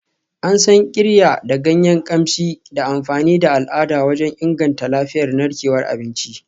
An san Qirya da ganyen kamshi da amfani da al'ada wajen inganta lafiyar narkewar abinci.